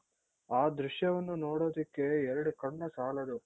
ಆ ದೃಶ್ಯವನ್ನು ನೋಡೋದಿಕ್ಕೆ ಎರಡು ಕಣ್ಣು ಸಾಲದು